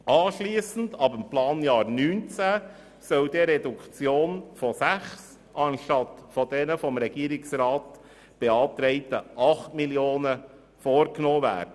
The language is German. Anschliessend, ab dem Planjahr 2019, soll dann eine Reduktion um 6 Mio. Franken statt der vom Regierungsrat beantragten 8 Mio. Franken vorgenommen werden.